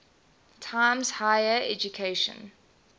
times higher education